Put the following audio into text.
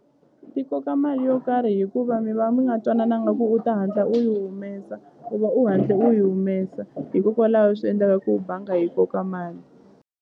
Ti koka mali yo karhi hikuva mi va mi nga twanananga ku u ta hatla u yi humesa u va u hatle u yi humesa hikokwalaho swi endlaka ku banga yi koka mali.